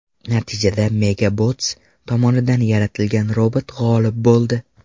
Natijada MegaBots tomonidan yaratilgan robot g‘olib bo‘ldi.